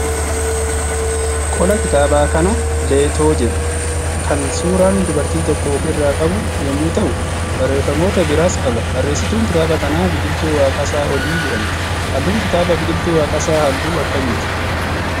Qola kitaabaa kana "leetoo" jedhu, kan suuraan dubartii tokkoo of irraa qabu yommuu ta'u, barrefamoota biraas qaba. Barreessituun kitaaba kanaa Biqiltuu Waaqasaa Olii jedhamti. Halluun kitaaba Biqiltuu Waaqasaa halluu akkamiti?